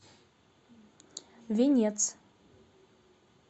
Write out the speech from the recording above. венец